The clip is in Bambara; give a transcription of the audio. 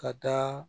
Ka taa